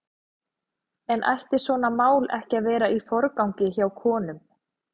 En ætti svona mál ekki að vera í forgangi hjá konum?